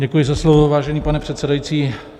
Děkuji za slovo, vážený pane předsedající.